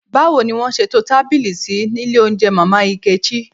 Báwo ni wọ́n ṣe to tábìlì sí ní ilé oúnjẹ Mama Nkechi?